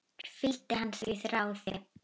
Fylgdi hann því ráði.